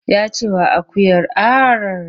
Ya ce wa akuyar ar!